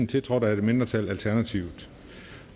tiltrådt af et mindretal